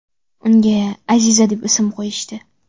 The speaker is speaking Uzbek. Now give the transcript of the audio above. Unga Aziza deb ism qo‘yishdi.